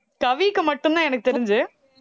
கவிக்கு மட்டும்தான் எனக்குத் தெரிஞ்சு